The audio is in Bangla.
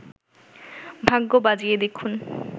ভাগ্য বাজিয়ে দেখুন